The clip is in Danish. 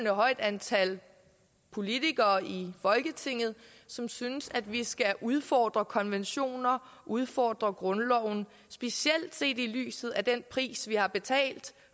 højt antal politikere i folketinget som synes at vi skal udfordre konventioner og udfordre grundloven specielt set i lyset af den pris vi har betalt